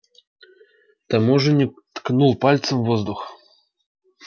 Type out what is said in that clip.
таможенник ткнул пальцем в воздух